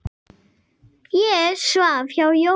Ég svaf hjá Jónu.